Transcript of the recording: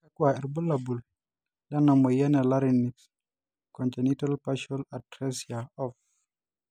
kakua irbulabol kena moyian e Larynx, congenital partial atresia of?